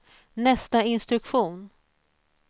nästa instruktion